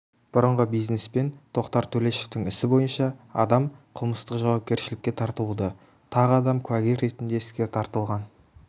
бұрынғы бизнесмен тоқтар төлешовтың ісі бойынша адам қылмыстық жауапкершілікке тартылуда тағы адам куәгер ретінде іске тартылған